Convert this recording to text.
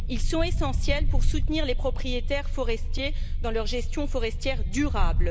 Ils sont essentiels pour soutenir les propriétaires forestiers dans leur gestion forestière durable.